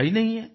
पता ही नहीं है